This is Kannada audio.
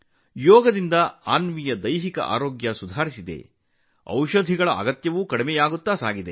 ಯೋಗವು ಅನ್ವಿಯ ದೈಹಿಕ ಆರೋಗ್ಯವನ್ನು ಸುಧಾರಿಸಿದೆ ಮತ್ತು ಔಷಧಿಗಳ ಅಗತ್ಯವನ್ನೂ ಕಡಿಮೆ ಮಾಡಿದೆ